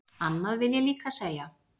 Annað vil ég líka segja.